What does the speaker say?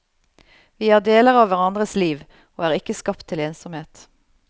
Vi er deler av hverandres liv, og er ikke skapt til ensomhet.